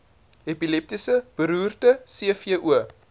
epilepsie beroerte cvo